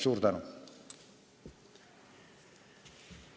Suur tänu!